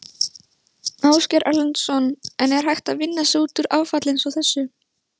Ásgeir Erlendsson: En er hægt að vinna sig út úr áfalli eins og þessu?